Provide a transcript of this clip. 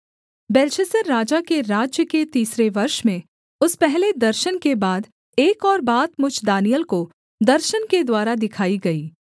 Belshazzar राजा के राज्य के तीसरे वर्ष में उस पहले दर्शन के बाद एक और बात मुझ दानिय्येल को दर्शन के द्वारा दिखाई गई